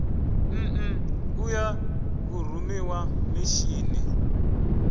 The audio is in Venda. nn u ya vhurumiwa mishini